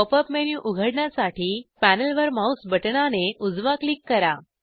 pop up menu उघडण्यासाठी पॅनेलवर mouse बटणाने उजवा क्लिक करा